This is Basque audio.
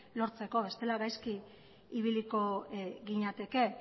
lortzeko bestela gaizki ibiliko ginateke